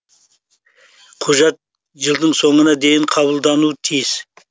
құжат жылдың соңына дейін қабылдануы тиіс